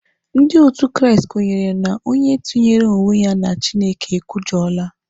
Ndị otu Kraịst kwenyere na onye tunyere onwe ya na Chineke ekwujọla.